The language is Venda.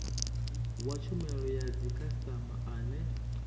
wa tshumelo ya dzikhasitama ane